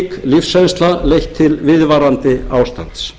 lífsreynsla leitt til viðvarandi ástands